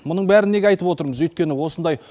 мұның бәрін неге айтып отырмыз өйткені осындай